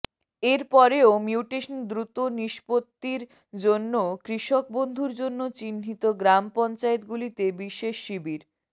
এর পরেও মিউটেশন দ্রুত নিস্পত্তির জন্য কৃষক বন্ধুর জন্য চিহ্নিত গ্রাম পঞ্চায়েতগুলিতে বিশেষ শিবির